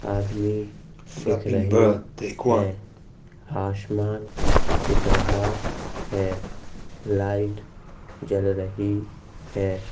आदमी दिख रहे है हाशमान दिख रहा है लाइट जल रही है|